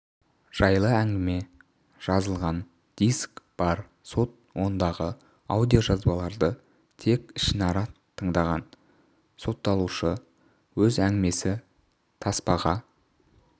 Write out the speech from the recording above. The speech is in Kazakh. жайлы әңгіме жазылған диск бар сот ондағы аудиожазбаларды тек ішінара тыңдаған сотталушы өз әңгімесі таспаға